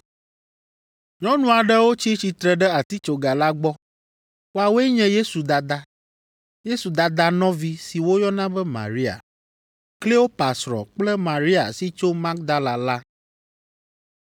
Nyɔnu aɖewo tsi tsitre ɖe atitsoga la gbɔ. Woawoe nye Yesu dada, Yesu dada nɔvi si woyɔna be Maria, Kleopa srɔ̃ kple Maria si tso Magdala la.